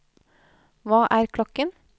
hva er klokken